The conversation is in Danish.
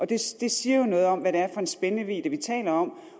det siger jo noget om hvad det er for en spændvidde vi taler om